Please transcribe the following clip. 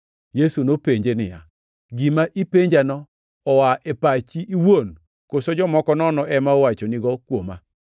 Yesu nopenje niya, “Gima ipenjano oa e pachi iwuon koso jomoko nono ema owachonigo kuoma?”